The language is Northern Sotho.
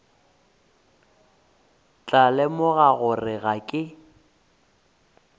tla lemoga gore ga ke